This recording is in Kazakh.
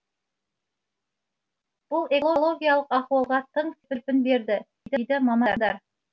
бұл экологиялық ахуалға тың серпін берді дейді мамандар